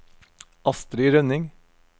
Astri Rønning